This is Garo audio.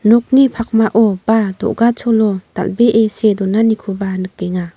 nokni pakmao ba do·gacholo dal·bee see donanikoba nikenga.